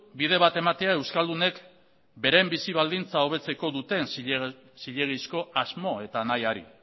bide bat ematea euskaldunek beren bizi baldintza hobetzeko duten zilegizko asmo eta nahiari